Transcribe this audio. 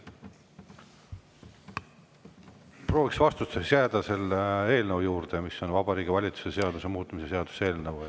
Prooviks vastustes jääda selle eelnõu, Vabariigi Valitsuse seaduse muutmise seaduse eelnõu juurde.